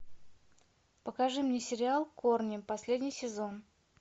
покажи мне сериал корни последний сезон